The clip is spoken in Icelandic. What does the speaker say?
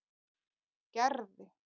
Gerði